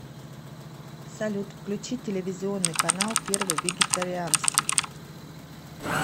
салют включи телевизионный канал первый вегетарианский